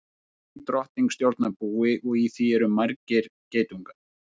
Ein drottning stjórnar búi og í því eru margir geitungar.